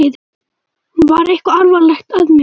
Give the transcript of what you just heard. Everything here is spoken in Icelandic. Var eitthvað alvarlegt að mér?